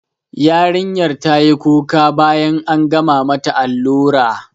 Yarinyar tayi kuka bayan an gama mata allura